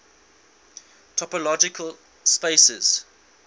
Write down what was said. topological spaces